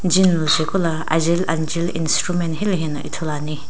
gym lujae ku lo ajeli ajeli instrument itomo ithulu ane.